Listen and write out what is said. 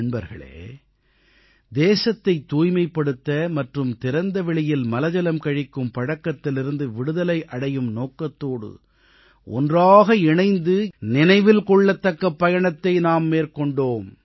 நண்பர்களே தேசத்தைத் தூய்மைப்படுத்த மற்றும் திறந்தவெளியில் மலஜலம் கழிக்கும் பழக்கத்திலிருந்து விடுதலை அடையும் நோக்கத்தோடு ஒன்றாக இணைந்து 2014ஆம் ஆண்டு அக்டோபர் மாதம் 2ஆம் தேதியன்று நினைவில் கொள்ளத்தக்க பயணத்தை நாம் மேற்கொண்டோம்